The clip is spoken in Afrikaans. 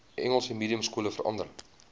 engels mediumskole verander